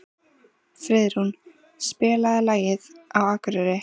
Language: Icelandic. Friðrún, spilaðu lagið „Á Akureyri“.